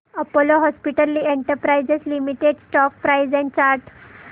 Apollo hospitals enterprise limited stock price and chart